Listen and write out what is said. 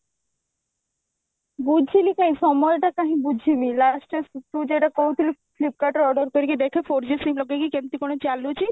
ବୁଝିଲି କଇଁ ସମୟଟା କାହିଁ ବୁଝିବି last stage ତୁ ଯଉଟା କହୁଥିଲୁ flipkart ରୁ order କରିକି ଦେଖେ four G SIM ଲଗେଇକି କେମିତି କଣ ଚାଲୁଛି